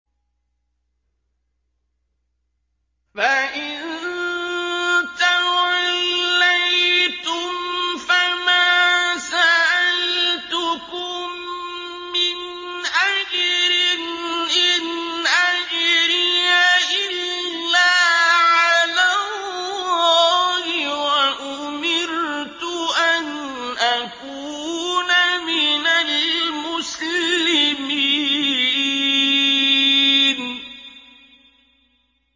فَإِن تَوَلَّيْتُمْ فَمَا سَأَلْتُكُم مِّنْ أَجْرٍ ۖ إِنْ أَجْرِيَ إِلَّا عَلَى اللَّهِ ۖ وَأُمِرْتُ أَنْ أَكُونَ مِنَ الْمُسْلِمِينَ